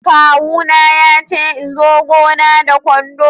kawu na ya ce in zo gona da kwando.